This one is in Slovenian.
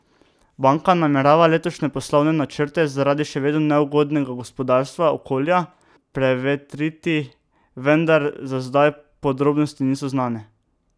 Banka namerava letošnje poslovne načrte zaradi še vedno neugodnega gospodarskega okolja prevetriti, vendar za zdaj podrobnosti niso znane.